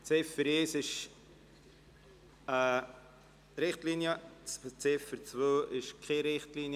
Die Ziffer 1 ist eine Richtlinie, die Ziffer 2 ist keine Richtlinie;